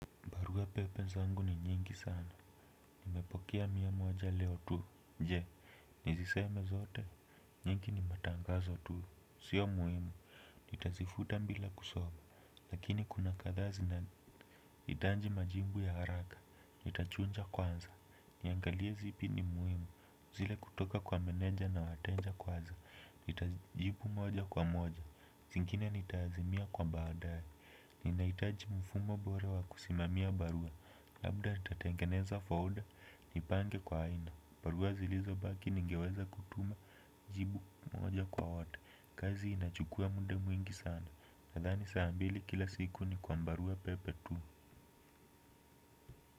Barua pepe zangu ni nyingi sana, nimepokea mia moja leo tu, je, nizisome zote, nyingi ni matangazo tu, sio muhimu, nitazifuta bila kusoma, lakini kuna kadhaa zina hitaji majibu ya haraka, nitachuja kwanza, niangalia zipi ni muhimu, zile kutoka kwa meneja na wateja kwanza, nitajibu moja kwa moja, zingine nita azimia kwa baadae, ninahitaji mfumo bora wa kusimamia barua. Labda nitatengeneza folder ni pange kwa aina. Barua zilizobaki ningeweza kutuma jibu moja kwa wote. Kazi inachukua muda mwingi sana. Nadhani saa mbili kila siku ni kwa barua pepe tu.